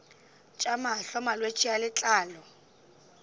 tša mahlo malwetse a letlalo